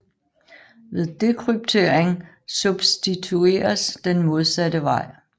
Ved dekryptering substitueres den modsatte vej